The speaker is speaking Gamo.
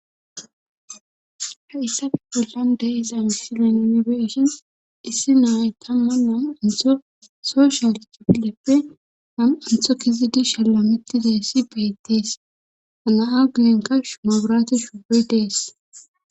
ha issafe bollan deeza silenonbeishin issi naayy tamman nam intho so shaal tupileppe han intho kizidi shalla mitizayssi beyettees hana7a guyenka shumobiraate shubey dees